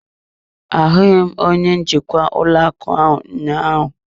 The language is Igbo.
Ahụghị m onye njikwa ụlọ akụ ụnyaahụ.